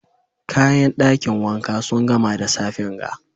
Kayan dakin wanka sun gama da safen ga.